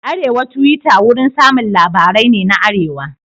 Arewa Tuwita wurin samun labarai ne na arewa.